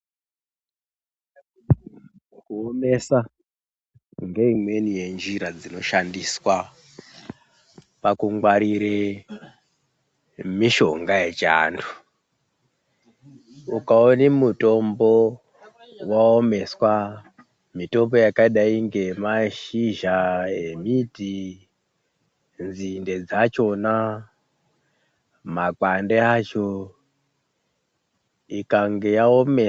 Kuomesa ngeimweni yenjira dzinoshandiswa pakungwarire mishonga yechiantu, ukaone mutombo waomeswa mitombo yakadai ngemashizha emiti, nzinde dzachona makwande acho ikange yaome...